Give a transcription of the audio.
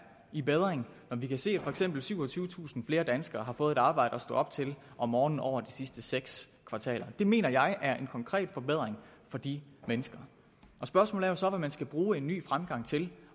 i bedring når vi kan se at for eksempel syvogtyvetusind flere danskere har fået et arbejde at stå op til om morgenen over de sidste seks kvartaler det mener jeg er en konkret forbedring for de mennesker spørgsmålet er så hvad man skal bruge en ny fremgang til